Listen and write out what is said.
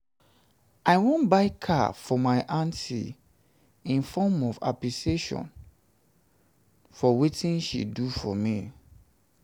i wan buy car for my aunty in form of appreciation for wetin she do for me